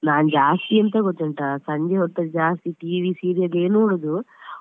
ನಾನ್ ಜಾಸ್ತಿ ಎಂತ ಗೊತ್ತುಂಟಾ ಸಂಜೆ ಹೊತ್ತಲ್ಲಿ ಜಾಸ್ತಿ TV serial ಯೇ ನೋಡುದು.